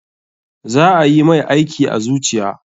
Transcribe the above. Za ayi mai aiki a zuciya.